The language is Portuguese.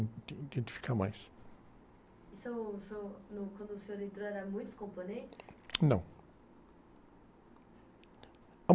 identificar mais. seu, seu, no, quando o senhor entrou, eram muitos componentes?ão.